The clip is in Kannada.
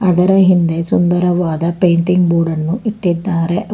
ಅದರ ಹಿಂದೆ ಸುಂದರವಾದ ಪೇಂಟಿಂಗ್ ಬೋರ್ಡನ್ನು ಇಟ್ಟಿದ್ದಾರೆ.